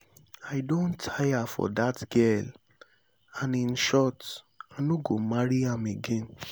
i don tire for dat girl and in short i no go marry am again